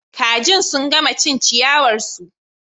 Kaji sun gama cin ciyawar su